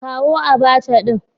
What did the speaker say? Kawo Abacha din